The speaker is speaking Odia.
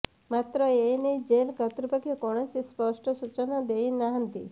ମାତ୍ର ଏନେଇ ଜେଲ୍ କର୍ତ୍ତୃପକ୍ଷ କୌଣସି ସ୍ପଷ୍ଟ ସୂଚନା ଦେଇନାହାନ୍ତି